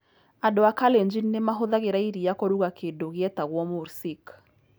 Andũ a Kalenjin nĩ mahũthagĩra iria kũruga kĩndũ gĩetagwo mursik.